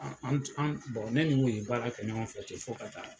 An tun an ne ni n'uye baara kɛ ɲɔgɔn fɛ te fo ka taa